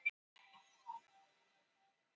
Seðlarnir voru einföld ljósrit